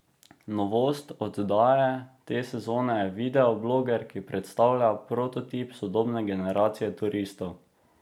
Novost oddaje te sezone je videobloger, ki predstavlja prototip sodobne generacije turistov.